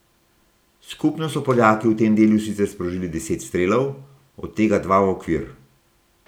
Skupno so Poljaki v tem delu sicer sprožili deset strelov, od tega dva v okvir.